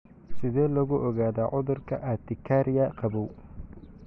Sidee lagu ogaadaa cudurka urtikaria qabow?